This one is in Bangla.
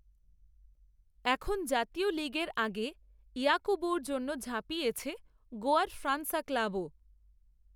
এখন জাতীয় লিগের আগে ইয়াকূবুর জন্য ঝাঁপিয়েছে গোয়ার ফ্রানসা ক্লাবও